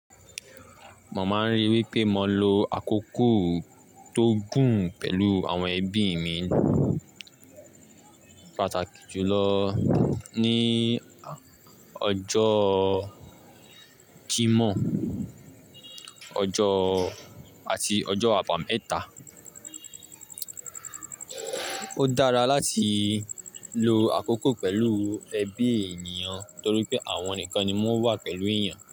Mo máa ń rí i wí pé mo lo àkókò tó gùn pẹ̀lú àwọn ẹbí mi, pàtàkì jùlọ ní ọjọ́ Jímọ̀, ọjọ́ àti ọjọ́ àbámẹ́ta. Ó dára láti lo àkókò pẹ̀lú ẹbí ènìyàn torí pé àwọn nìkan ni wọ́n wà pẹ̀lú èèyàn.